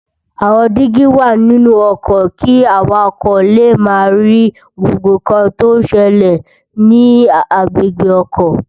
Awòn digi wá ninú òkò ki àwákò lé má ri gbógbó nkán tó n sèlè ni agbégbé òkò